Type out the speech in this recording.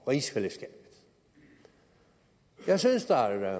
rigsfællesskabet jeg synes der